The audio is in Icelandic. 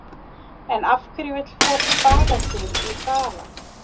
En af hverju vill fólk baða sig í þara?